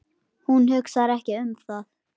Hún hugsar ekki um það.